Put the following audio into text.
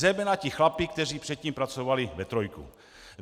Zejména ti chlapi, kteří předtím pracovali ve trojce.